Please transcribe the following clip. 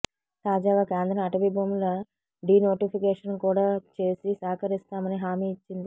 తాజాగా కేంద్రం అటవీ భూముల డీనోటిఫికేషన్ కూడా చేసి సహకరిస్తామని హామీ ఇచ్చింది